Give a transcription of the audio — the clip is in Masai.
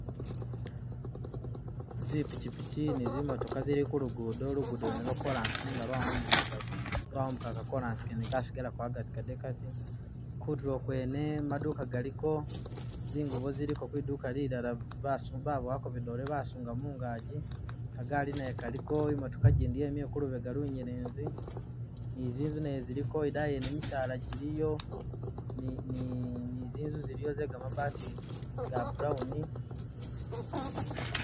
Zipikyipikyi ni zi'motooka zili ku lugudo, lugudo lwene lwo chorus nenga lwawumbugagako, lwawumbuga ka chorus kene kasigalako agati Kade kaati, kutulo kwene maduka galiko, zingubo ziliko kwiduuka lilala basi babowako bidole basunga mungaji, kagali nayo kaliko, imotooka gyindi yimile ku lubega lunyelezi ni zinzu nayo ziliko idayi yene misaala gyiliyo ni ni ni'zinzu ziliyo ze gamabaati ga brown